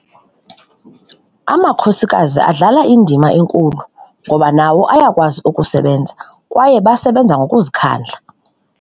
Amakhosikazi adlala indima enkulu ngoba nawo ayakwazi ukusebenza kwaye basebenza ngokuzikhandla.